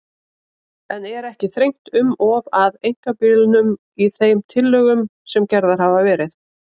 En er ekki þrengt um of að einkabílnum í þeim tillögum sem gerðar hafa verið?